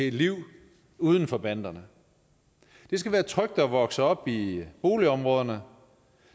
et liv uden for banderne det skal være trygt at vokse op i boligområderne